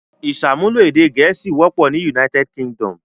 Ìṣàmúlò èdè Gẹ̀ẹ́sì wọ́pọ̀ ní United Kingdom.